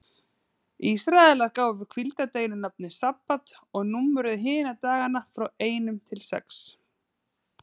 Ísraelar gáfu hvíldardeginum nafnið sabbat og númeruðu hina dagana frá einum til sex.